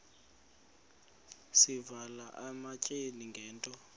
sivela ematyaleni ngento